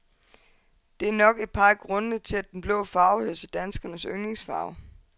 Det er nok er par af grundende til, at den blå farve hører til danskernes yndlingsfarve.